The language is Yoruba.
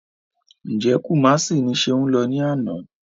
Ǹjẹ́ Kumasi ni Ṣeun lọ ní àná?